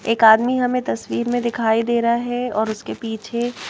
एक आदमी हमें तस्वीर में दिखाई दे रहा है और उसके पीछे--